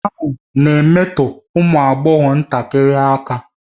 Nwoke ahụ na-emetọ ụmụ agbọghọ ntakịrị aka